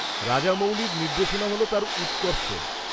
-রাজামৌলির নির্দেশনা হল তাঁর উৎকর্ষ।